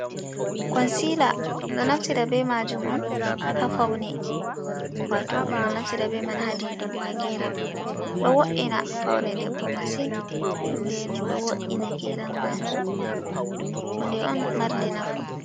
Konsila ɗo naftira be majum on ha faune wato ɗum ɗo naftira be man ha diidugo ha geram ɗo wo’ina faune debbo masin nden ɗo wo’ina geram majum, hunde on marnde nafu.